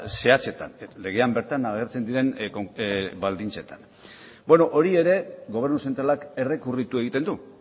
zehatzetan legean bertan agertzen diren baldintzetan hori ere gobernu zentralak errekurritu egiten du